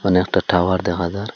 অনেকটা টাওয়ার দেখা যার ।